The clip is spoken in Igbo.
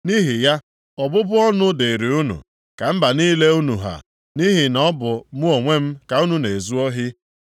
Nʼihi ya, ọbụbụ ọnụ dịịrị unu, ka mba niile unu ha, nʼihi na ọ bụ mụ onwe m ka unu na-ezu ohi.